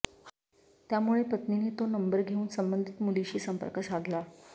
त्यामुळे पत्नीने तो नंबर घेऊन संबंधित मुलीशी संपर्क साधला